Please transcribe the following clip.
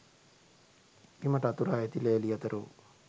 බිමට අතුරා ඇති ලෑලි අතර වූ